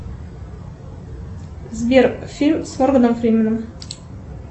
сбер фильм с морганом фрименом